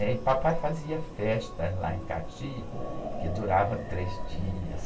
E aí, papai fazia festas lá em Caxias, que durava três dias.